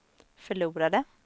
förlorade